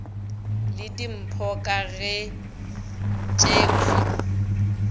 le dimpho ka ge tšekhwi